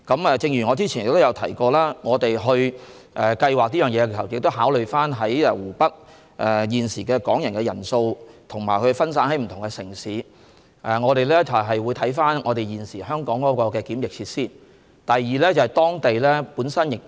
我早前亦提到，我們在計劃此事時，須考慮現時在湖北的港人人數，以及他們分散在不同的城市，我們會視乎香港的檢疫設施數目而作出安排。